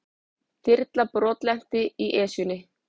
Þyrla brotlenti í Esjunni